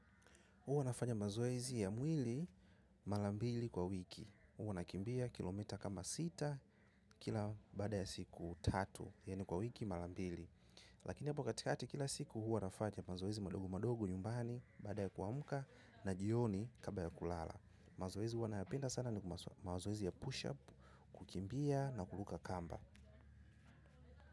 Huwa nafanya mazoezi ya mwili mala mbili kwa wiki. Uwa nakimbia kilomita kama sita kila bada ya siku tatu. Yani kwa wiki mala mbili. Lakini hapo katikati kila siku huwa nafanya mazoezi madogo madogo nyumbani baada ya kuamka na jioni kabla ya kulala. Mazoezi huwa nayapenda sana ni mazoezi ya push up kukimbia na kuluka kamba.